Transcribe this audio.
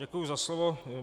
Děkuji za slovo.